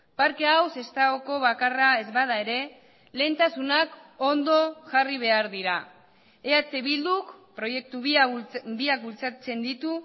parke hau sestaoko bakarra ez bada ere lehentasunak ondo jarri behar dira eh bilduk proiektu biak bultzatzen ditu